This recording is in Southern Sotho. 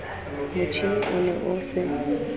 motjhine o ne o se